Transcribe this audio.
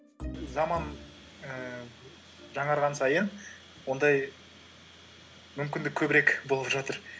заман ііі жаңарған сайын ондай мүмкіндік көбірек болып жатыр